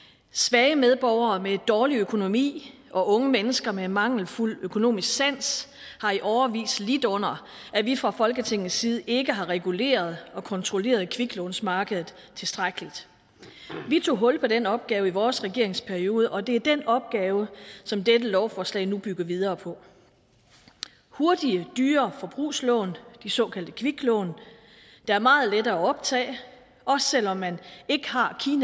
svage medborgere med dårlig økonomi og unge mennesker med mangelfuld økonomisk sans har i årevis lidt under at vi fra folketingets side ikke har reguleret og kontrolleret kviklånsmarkedet tilstrækkeligt vi tog hul på den opgave i vores regeringsperiode og det er den opgave som dette lovforslag nu bygger videre på hurtige dyre forbrugslån de såkaldte kviklån er meget lette at optage også selv om man ikke har